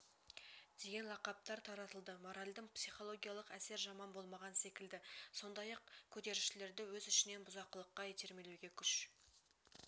деген лақаптар таратылды моральді психологиялық әсер жаман болмаған секілді сондай-ақ көтерілісшілерді өз ішінен бұзақылыққа итермелеуге күш